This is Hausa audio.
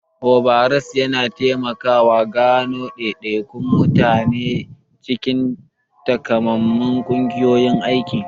Overalls yana taimakawa gano daidaikun mutane a cikin takamaiman ƙungiyoyin aiki.